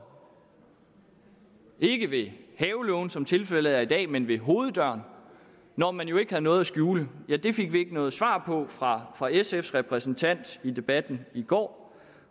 ikke ved havelågen som tilfældet er i dag men ved hoveddøren når man jo ikke havde noget at skjule ja det fik vi ikke noget svar på fra fra sfs repræsentant i debatten i går